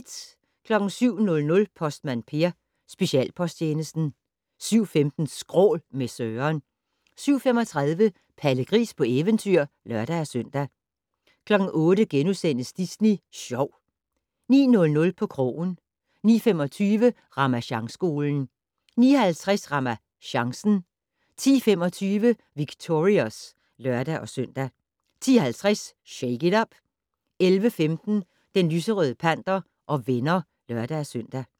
07:00: Postmand Per: Specialposttjenesten 07:15: Skrål - med Søren 07:35: Palle Gris på eventyr (lør-søn) 08:00: Disney Sjov * 09:00: På krogen 09:25: Ramasjangskolen 09:50: RamaChancen 10:25: Victorious (lør-søn) 10:50: Shake it up! 11:15: Den lyserøde panter og venner (lør-søn)